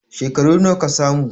Shekaru nawa ka samu?